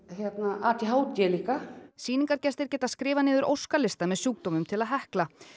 a d h d líka sýningargestir geta skrifað niður óskalista með sjúkdómum til að hekla